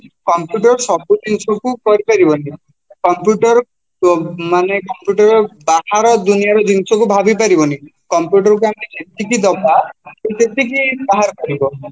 computer ସବୁ ଜିନିଷକୁ କରିପାରିବନି computer ମାନେ computer ବାହାର ଦୁନିଆର ଜିନିଷକୁ ଭାବିପାରିବନି computer କୁ ଆମେ ଯେତିକି ଦବା ସେତିକି ବାହାର କରିବ